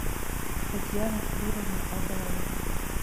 татьяну флюровну абаеву